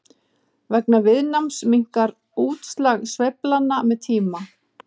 vegna viðnáms minnkar útslag sveiflnanna með tíma